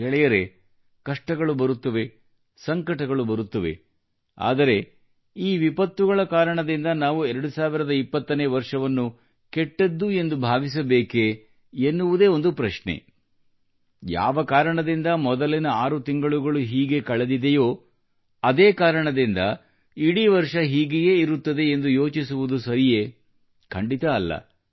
ಗೆಳೆಯರೇ ಕಷ್ಟಗಳು ಬರುತ್ತವೆ ಸಂಕಟಗಳು ಬರುತ್ತವೆ ಆದರೆ ಈ ವಿಪತ್ತುಗಳ ಕಾರಣದಿಂದ ನಾವು 2020 ನೇ ವರ್ಷವನ್ನು ಕೆಟ್ಟದ್ದು ಎಂದು ಭಾವಿಸಬೇಕೆ ಯಾವ ಕಾರಣದಿಂದ ಮೊದಲಿನ ಆರು ತಿಂಗಳುಗಳು ಹೀಗೆ ಕಳೆದಿದೆಯೋ ಅದೇ ಕಾರಣದಿಂದ ಇಡೀ ವರ್ಷ ಹೀಗೆಯೇ ಇರುತ್ತದೆ ಎಂದು ಯೋಚಿಸುವುದು ಸರಿಯೇ ಖಂಡಿತ ಅಲ್ಲ